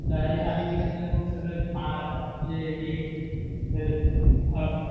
तयारी झाली कि मग सगळं हे खरेदी